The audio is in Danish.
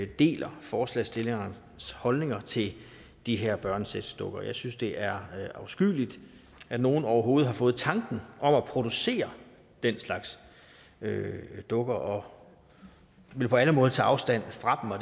deler forslagsstillernes holdninger til de her børnesexdukker jeg synes det er afskyeligt at nogen overhovedet har fået tanken om at producere den slags dukker og vil på alle måder tage afstand fra